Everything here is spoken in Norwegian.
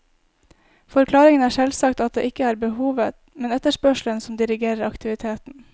Forklaringen er selvsagt at det ikke er behovet, men etterspørselen som dirigerer aktiviteten.